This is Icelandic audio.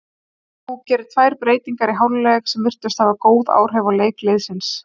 Þú gerir tvær breytingar í hálfleik sem virtust hafa góð áhrif á leik liðsins?